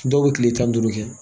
Dɔw bɛ kile tan ni duuru kɛ